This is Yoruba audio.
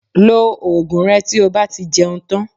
Lo oògùn rẹ tí o bá ti jẹun tán